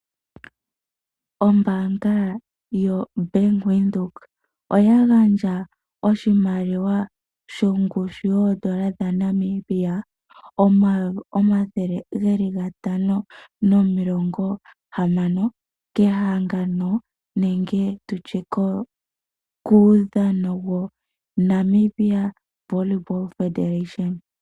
Ombaanga yo Bank Windhoek oya gandja oshimaliwa shongushu yoondola dha Namibia omayovi omathele gatano nomilongo hamano, kehangano nenge tutye kuudhano wo Namibia Volleyball Federation.